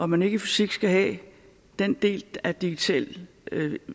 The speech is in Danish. man ikke i fysik skal have den del af digital